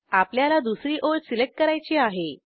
आपल्याला दुसरी ओळ सिलेक्ट करायची आहे